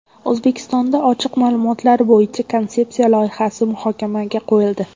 O‘zbekistonda Ochiq ma’lumotlar bo‘yicha konsepsiya loyihasi muhokamaga qo‘yildi.